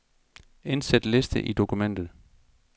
Indsæt liste i dokumentet.